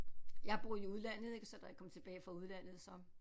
Jeg har boet i udlandet ik så da jeg kom tilbage fra udlandet så